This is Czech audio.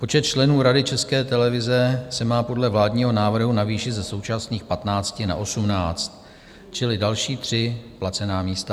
Počet členů Rady České televize se má podle vládního návrhu navýšit ze současných 15 na 18, čili další tři placená místa.